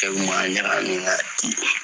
Cɛ kun m'a ɲagami ga ki kun.